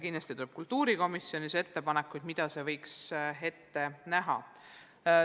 Kindlasti tuleb ka kultuurikomisjonist ettepanekuid, mida see plaan võiks ette näha.